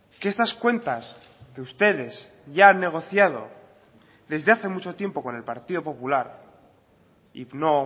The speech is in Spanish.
que estas cuentas que ustedes ya han negociado desde hace mucho tiempo con el partido popular y no